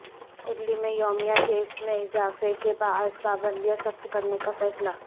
Italy میں یومیہ cases میں اضافے کے باعث پابندیاں سخت کرنے کا فیصلہ